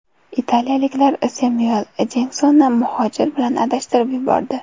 Italiyaliklar Semyuel L. Jeksonni muhojir bilan adashtirib yubordi.